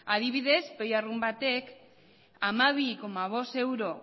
adibidez peoi arrunt batek hamabi koma bost euro